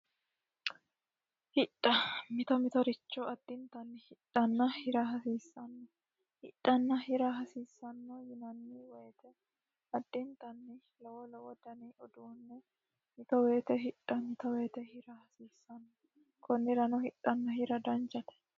hidha mito mitooricho addintanni hidhanna hira hasiissanno hidhanna hira hasiissanno yinanni woyite addintanni lowo lowo dani uduunne mito woyite hidha mito woyite hira hasiissanno kunnirano hidhanna hira danichate